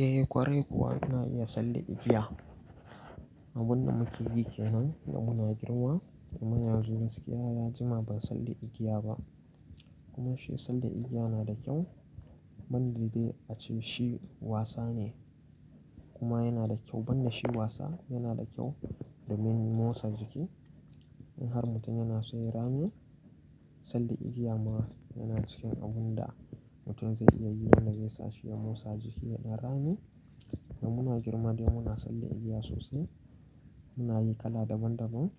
Eh ƙwarai kuwa ina iya salle igiya. Abun da muke yi ke nan da muna girma, amma yanzu gaskiya ya jima ban salle igiya ba. Kuma shi sanda igiya nada kyau, banda dai ace shi wasa ne kuma yana da kyau. Ban da shi wasa yana da kyau domin motsa jiki. In har mutum yana so ya yi rame, salla igiya ma yana cikin abunda mutum zai iya yi wanda zai sa shi ya motsa jiki ya ɗan rami. Da muna girma dai muna salla igiya sosai. Muna yi kala daban daban.